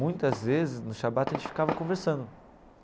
Muitas vezes, no shabbat, a gente ficava conversando.